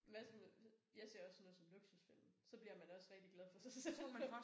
Hvad så med jeg ser også sådan noget som luksusfælden så bliver man også rigtig glad for sig selv